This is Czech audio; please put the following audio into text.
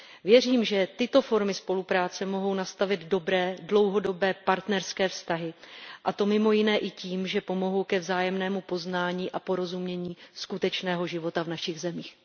Věřím, že tyto formy spolupráce mohou nastavit dobré, dlouhodobé partnerské vztahy, a to mimo jiné i tím, že pomohou ke vzájemnému poznání a porozumění skutečného života v našich zemích.